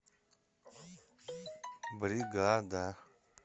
бригада